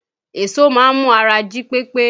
Èso máa ń mú ara jí pépé